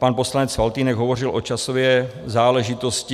Pan poslanec Faltýnek hovořil o časové záležitosti.